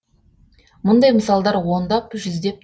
бұндай мысалдар ондап жүздеп